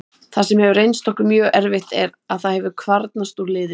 Það sem hefur reynst okkur mjög erfitt er að það hefur kvarnast úr liðinu.